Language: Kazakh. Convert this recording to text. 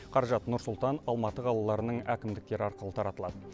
қаражат нұр сұлтан алматы қалаларының әкімдіктері арқылы таратылады